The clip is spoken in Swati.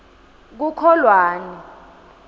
kukholwane